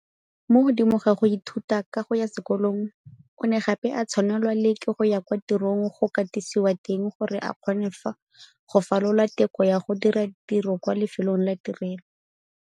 Mo godimo ga go ithuta ka go ya sekolong, o ne gape a tshwanelwa le ke go ya kwa tirong go katisiwa teng gore a kgone go falola teko ya go dira tiro kwa lefelong la tirelo.